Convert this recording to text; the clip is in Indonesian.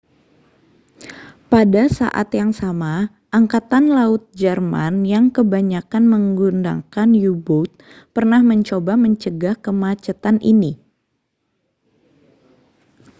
pada saat yang sama angkatan laut jerman yang kebanyakan menggunakan u-boat pernah mencoba mencegah kemacetan ini